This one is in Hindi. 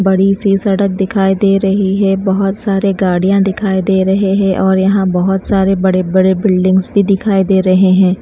बड़ी सी सड़क दिखाई दे रही है बहुत सारे गाड़ियाँ दिखाई दे रहे हैं और यहाँ बहुत सारे बड़े-बड़े बिल्डिंग्स भी दिखाई दे रहे हैं।